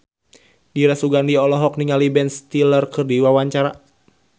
Dira Sugandi olohok ningali Ben Stiller keur diwawancara